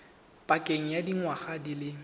pakeng ya dingwaga di le